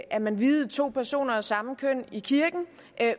at man viede to personer af samme køn i kirken